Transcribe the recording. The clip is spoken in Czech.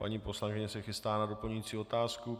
Paní poslankyně se chystá na doplňující otázku.